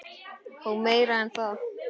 Og meira en það.